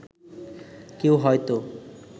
কেউ হয়তো